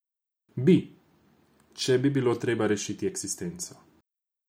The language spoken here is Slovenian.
Bi, če bi bilo treba rešiti eksistenco.